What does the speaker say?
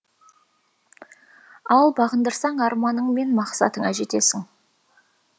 ал бағындырсаң арманың мен мақсатыңа жетесің